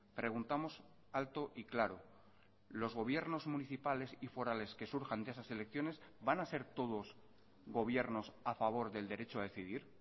preguntamos alto y claro los gobiernos municipales y forales que surjan de esas elecciones van a ser todos gobiernos a favor del derecho a decidir